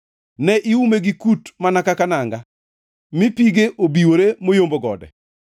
Ne iume gi kut mana kaka nanga mi pige obiwore moyombo gode.